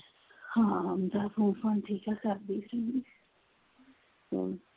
ਹਾਂ ਆਉਂਦਾ ਸੀ ਹੁਣ ਠੀਕ ਆ ਕਰਦੀ ਸੀ ਅਮ